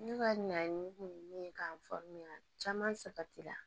Ne ka ɲan kun ye min ye k'an faamuya caman sabati la